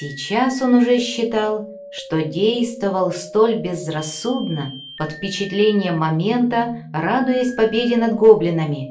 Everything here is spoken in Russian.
сейчас он уже считал что действовал столь безрассудно под впечатлением момента радуясь победе над гоблинами